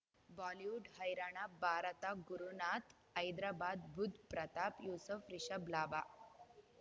Bollywood ಹೈರಾಣ ಭಾರತ ಗುರುನಾಥ್ ಹೈದರಾಬಾದ್ ಬುಧ್ ಪ್ರತಾಪ್ ಯೂಸಫ್ ರಿಷಬ್ ಲಾಭ